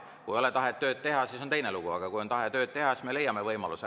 Kui ei ole tahet tööd teha, siis on teine lugu, aga kui on tahe tööd teha, siis me leiame võimaluse.